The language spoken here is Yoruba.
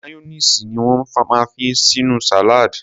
Mayonnaise ni won máa ń fi sínú salad.